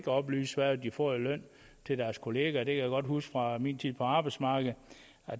oplyse hvad de får i løn til deres kollegaer det kan jeg godt huske fra min tid på arbejdsmarkedet